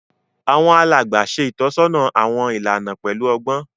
Àwọn alàgbà ṣe itọsọna awọn ìlànà pẹlu ọgbọn